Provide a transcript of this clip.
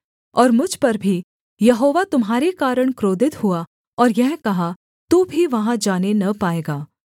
और मुझ पर भी यहोवा तुम्हारे कारण क्रोधित हुआ और यह कहा तू भी वहाँ जाने न पाएगा